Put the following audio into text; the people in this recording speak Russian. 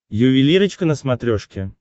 ювелирочка на смотрешке